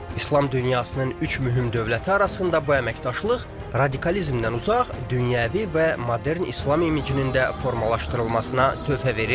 İslam dünyasının üç mühüm dövləti arasında bu əməkdaşlıq radikalizmdən uzaq dünyəvi və modern İslam imicinin də formalaşdırılmasına töhfə verir.